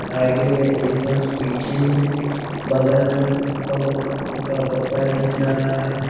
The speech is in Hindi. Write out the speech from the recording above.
आगे में एक हंस पीछे में बगल में कमल फूल का पत्ता दिख रहा है।